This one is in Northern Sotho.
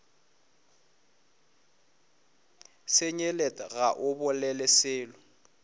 senyelet ga o bolele selo